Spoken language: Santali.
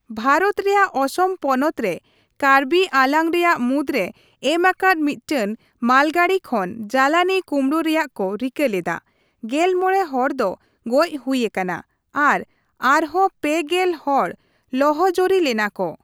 ᱵᱷᱟᱨᱚᱛ ᱨᱮᱭᱟᱜ ᱚᱥᱚᱢ ᱯᱚᱱᱚᱛ ᱨᱮ ᱠᱟᱨᱵᱤ ᱟᱝᱞᱟᱝ ᱨᱮᱭᱟᱜ ᱢᱩᱫᱨᱮ ᱮᱢ ᱟᱠᱟᱫ ᱢᱤᱫᱴᱟᱝ ᱢᱟᱞᱜᱟᱹᱰᱤ ᱠᱷᱚᱱ ᱡᱟᱞᱟᱱᱤ ᱠᱩᱢᱲᱩ ᱨᱮᱭᱟᱜ ᱠᱚ ᱨᱤᱠᱟᱹ ᱞᱮᱫᱟ, ᱜᱮᱞ ᱢᱚᱲᱮ ᱦᱚᱲ ᱫᱚ ᱜᱚᱡ ᱦᱩᱭ ᱟᱠᱟᱱᱟ ᱟᱨ ᱟᱨᱦᱚᱸ ᱯᱮ ᱜᱮᱞ ᱦᱚᱲ ᱞᱚᱦᱚᱡᱚᱨᱤ ᱞᱮᱱᱟ ᱠᱚ ᱾